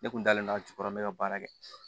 Ne kun dalen don a jukɔrɔ n bɛ ka baara kɛ